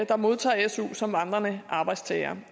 der modtager su som vandrende arbejdstagere